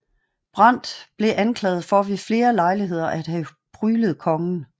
Brandt blev anklaget for ved flere lejligheder at have pryglet kongen